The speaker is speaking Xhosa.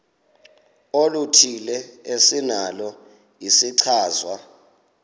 oluthile esinalo isichazwa